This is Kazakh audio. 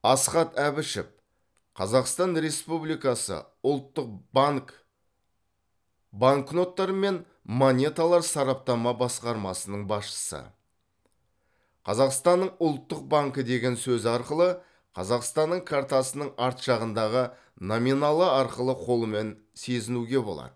асхат әбішев қазақстан республикасы ұлттық банк банкноттар мен монеталар сараптама басқармасының басшысы қазақстанның ұлттық банкі деген сөзі арқылы қазақстанның картасының арт жағындағы номиналы арқылы қолмен сезінуге болады